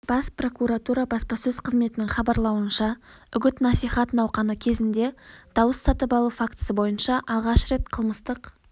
бас прокуратура баспасөз қызметінің хабарлауынша үгіт-насихат науқаны кезінде дауыс сатып алу фактісі бойынша алғаш рет қылмыстық